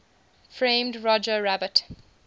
framed roger rabbit